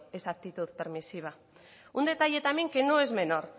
es actitud permisiva un detalle también que no es menor